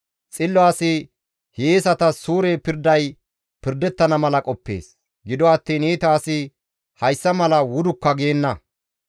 Xillo asi hiyeesatas suure pirday pirdettana mala qoppees; gido attiin iita asi hessa mala wudukka geenna.